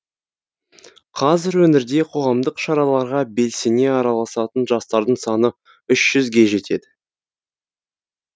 қазір өңірде қоғамдық шараларға белсене араласатын жастардың саны үш жүзге жетеді